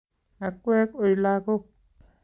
Akwek oi lagook